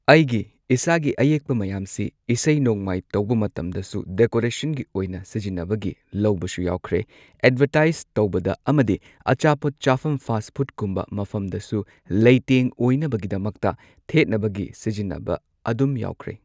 ꯑꯩꯒꯤ ꯏꯁꯥꯒꯤ ꯑꯌꯦꯛꯄ ꯃꯌꯥꯝꯁꯤ ꯏꯁꯩ ꯅꯣꯡꯃꯥꯏ ꯇꯧꯕ ꯃꯇꯝꯗꯁꯨ ꯗꯦꯀꯣꯔꯦꯁꯟꯒꯤ ꯑꯣꯏꯅ ꯁꯤꯖꯤꯟꯅꯕꯒꯤ ꯂꯧꯕꯁꯨ ꯌꯥꯎꯈ꯭ꯔꯦ꯫ ꯑꯦꯗꯚꯔꯇꯥꯏꯖ ꯇꯧꯕꯗ ꯑꯃꯗꯤ ꯑꯆꯥꯄꯣꯠ ꯆꯥꯐꯝ ꯐꯥꯁꯐꯨꯗ ꯀꯨꯝꯕ ꯃꯐꯝꯗꯁꯨ ꯂꯩꯇꯦꯡ ꯑꯣꯏꯅꯕꯒꯤꯗꯃꯛꯇ ꯊꯦꯠꯅꯕꯒꯤ ꯁꯤꯖꯤꯟꯅꯕ ꯑꯗꯨꯝ ꯌꯥꯎꯈ꯭ꯔꯦ꯫